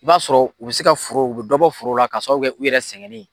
O b'a sɔrɔ u bɛ se ka forow, u bɛ dɔ bɔ foro la ka sababu kɛ u yɛrɛ sɛgɛnen.